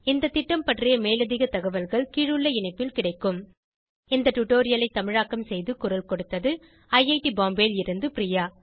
இந்த திட்டம் பற்றி மேலதிக தகவல்கள் கீழுள்ள இணைப்பில் கிடைக்கும் இந்த டுடோரியலை தமிழாக்கம் செய்து குரல் கொடுத்தது ஐஐடி பாம்பேவில் இருந்து பிரியா